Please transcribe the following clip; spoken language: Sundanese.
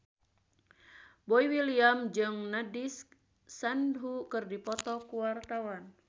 Boy William jeung Nandish Sandhu keur dipoto ku wartawan